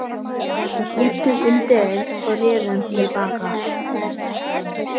Við hlýddum undireins og rerum til baka.